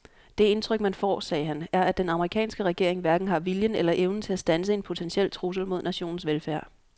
Det indtryk man får, sagde han, er at den amerikanske regering hverken har viljen eller evnen til at standse en potentiel trussel mod nationens velfærd.